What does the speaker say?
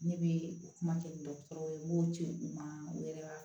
Ne bɛ kuma kɛ ni dɔgɔtɔrɔw ye n b'o ci u ma u yɛrɛ b'a